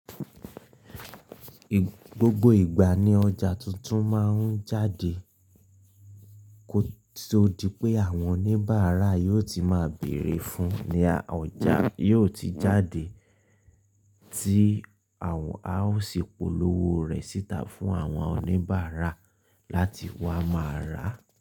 Gbogbo ìgbà ní ọjà tuntun máa ń jáde, tó di pé àwọn oníbàárà yóò ti máa bèrè fún ni ọjà yóò ti jáde tí àwọn á ó sì polówó rẹ̀ síta fún àwọn oníbàárà láti wá máa rà.